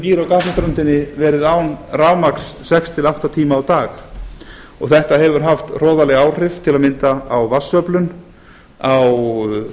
fólkið sem býr á gasaströndinni verið án rafmagns sex til átta tíma á dag þetta hefur haft hroðaleg áhrif til að mynda á vatnsöflun á